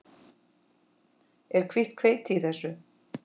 Er hvítt hveiti í þessu?